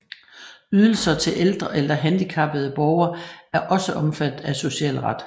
Ydelser til ældre eller handicappede borgere er også omfattet af socialret